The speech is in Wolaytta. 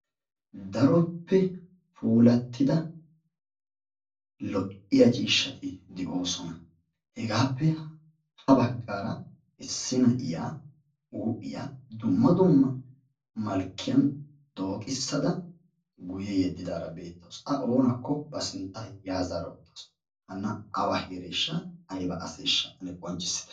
Daroppe puulattidda lo"iyaa ciishshatti de'oosonna. Heggappe ha baggara issi na'iyaa huuphphiyaa dumma dumma malkkiyan dooqissada guye yeddidara beettawussu a oonakko ba siintta ya zaara ya zaata uttasu, haana awa heereshsha ayibba aseshsha ane qonccisitte.